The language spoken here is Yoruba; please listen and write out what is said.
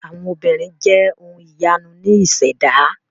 Àwọn obìnrin jẹ́ ohun ìyanu ní ìṣẹ̀dá.